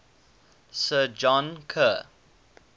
sir john kerr